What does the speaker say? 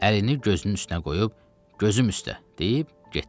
Əlini gözünün üstünə qoyub gözüm üstə deyib getdi.